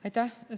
Aitäh!